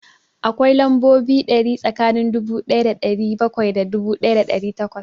Akwai lambobi ɗari tsakanin dubu ɗaya da ɗari bakwai da dubu ɗaya da ɗari takwas